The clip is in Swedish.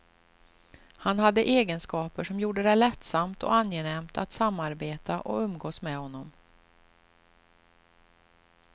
Han hade egenskaper som gjorde det lättsamt och angenämt att samarbeta och umgås med honom.